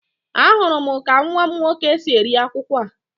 Ahụrụ m ka nwa m nwoke si eri akwukwo a